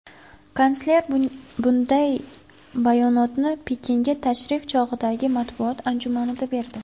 Kansler bunday bayonotni Pekinga tashrif chog‘idagi matbuot anjumanida berdi.